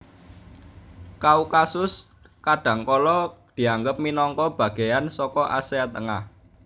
Kaukasus kadhangkala dianggep minangka bagéyan saka Asia Tengah